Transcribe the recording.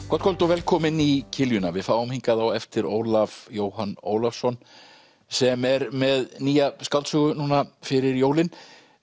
gott kvöld og velkomin í við fáum hingað á eftir Ólaf Jóhann Ólafsson sem er með nýja skáldsögu núna fyrir jólin